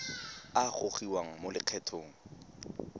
a a gogiwang mo lokgethong